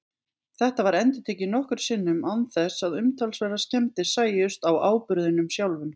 Þetta var endurtekið nokkrum sinnum án þess að umtalsverðar skemmdir sæjust á áburðinum sjálfum.